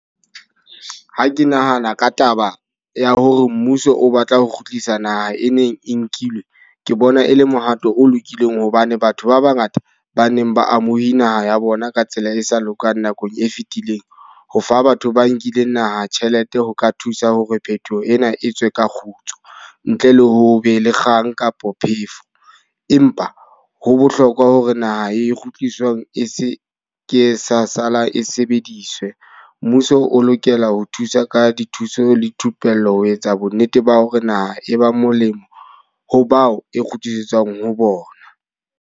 Ha ke nahana ka taba ya hore mmuso o batla ho kgutlisa naha e neng e nkilwe. Ke bona e le mohato o lokileng hobane batho ba ba ngata ba neng ba amowi naha ya bona ka tsela e sa lokang nakong e fitileng. Ho fa batho ba nkileng naha tjhelete ho ka thusa hore phethoho ena e tswe ka kgutso. Ntle le ho be le kgang kapo phefo. Empa ho bohlokwa hore naha e kgutliswang e se ke sa sa la e sebediswe. Mmuso o lokela ho thusa ka dithuso le thupello ho etsa bo nnete ba hore naha e ba molemo ho bao e kgutlisetsa ho bona.